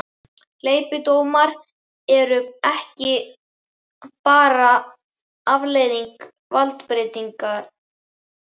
Hleypidómar eru ekki bara afleiðing valdbeitingar.